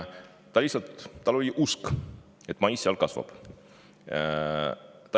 Tal lihtsalt oli usk, et mais seal kasvab.